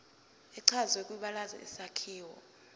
echazwe kwibalazwe isakhiwo